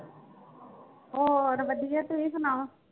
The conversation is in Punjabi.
ਹੋਰ ਵਧੀਆ ਤੁਸੀਂ ਸੁਣਾਓ।